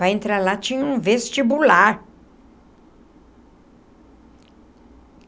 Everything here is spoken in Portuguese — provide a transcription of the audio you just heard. Para entrar lá tinha um vestibular.